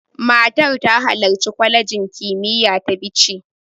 Matar ta halarci kwalejin kimiyya ta Bichi.